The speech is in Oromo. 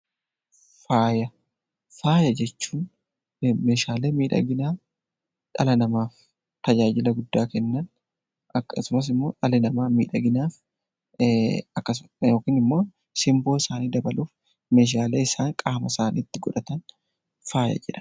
Faaya jechuun meeshaalee miidhaginaa dhala namaatiif tajaajila guddaa Kennan akkasumas immoo dhalli namaa miidhaginaaf yookiin immoo simboo isaanii dabaluuf meeshaalee isaan qaama isaaniitti godhatan faaya jedhama .